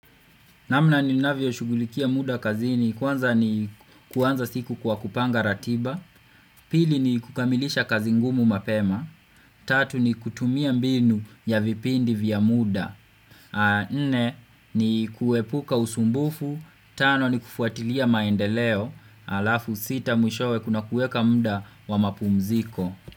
Namna ninavyo shugulikia muda kazi ni kwanza ni kwanza siku kwa kupanga ratiba, pili ni kukamilisha kazi ngumu mapema, tatu ni kutumia mbinu ya vipindi vya muda, a nne ni kuepuka usumbufu, tano ni kufuatilia maendeleo, alafu sita mwishowe kuna kueka mda wa mapumziko.